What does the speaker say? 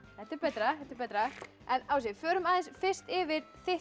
þetta er betra þetta er betra ási förum aðeins fyrst yfir þitt